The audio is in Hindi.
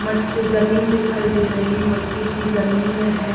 मट्ट ज़मीन दिखाई दे रही है मट्टी की ज़मीन है।